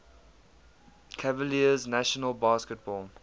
cavaliers national basketball